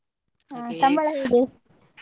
ಹ ಸಂಬಳ ಹೇಗೆ.